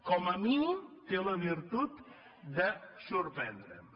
com a mínim té la virtut de sorprendre’m